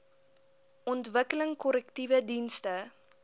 ontwikkeling korrektiewe dienste